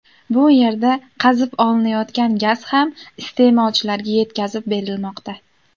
Bu yerdan qazib olinayotgan gaz ham iste’molchilarga yetkazib berilmoqda.